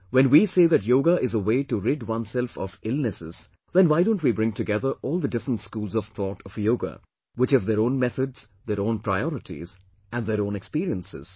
When we say that Yoga is a way to rid oneself of illnesses, then why don't we bring together all the different schools of thought of Yoga, which have their own methods, their own priorities and their own experiences